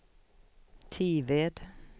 Tived